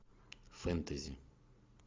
фэнтези